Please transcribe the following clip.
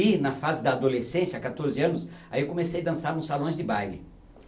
E, na fase da adolescência, quatorze anos, aí eu comecei dançar nos salões de baile.